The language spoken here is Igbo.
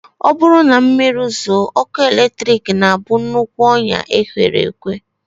Ọ bụrụ na mmiri zoo, ọkụ eletrik na-abụ nnukwu ọnyá e kwere ekwe